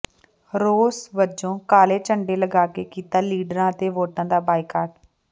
ਰੋਸ ਵਜੋਂ ਕਾਲੇ ਝੰਡੇ ਲਗਾਕੇ ਕੀਤਾ ਲੀਡਰਾਂ ਅਤੇ ਵੋਟਾਂ ਦਾ ਬਾਈਕਾਟ